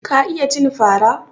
Ka iya cin fara?